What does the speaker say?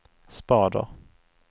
spader